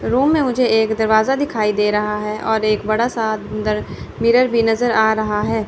Room में मुझे एक दरवाजा दिखाई दे रहा है और एक बड़ा सा अंदर मिरर भी नजर आ रहा है।